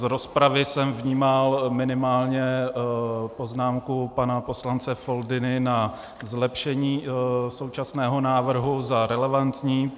Z rozpravy jsem vnímal minimálně poznámku pana poslance Foldyny na zlepšení současného návrhu za relevantní.